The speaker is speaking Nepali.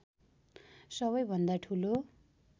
सबैभन्दा ठुलो